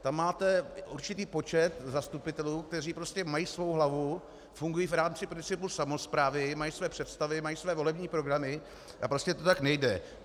Tam máte určitý počet zastupitelů, kteří prostě mají svou hlavu, funguji v rámci principu samosprávy, mají své představy, mají své volební programy a prostě to tak nejde.